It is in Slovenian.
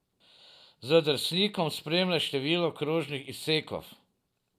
Z drsnikom spreminjaj število krožnih izsekov.